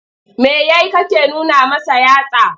Me ya yi kake nuna masa yatsa?